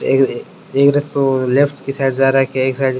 एक रास्तों लेफ्ट की साइड जा रखा है एक साइड --